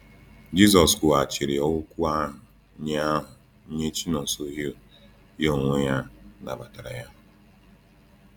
Jisọs kwughachiri oku ahụ nye ahụ nye Chinonsohew, ya onwe ya nabatara ya.